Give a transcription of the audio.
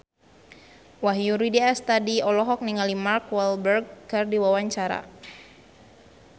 Wahyu Rudi Astadi olohok ningali Mark Walberg keur diwawancara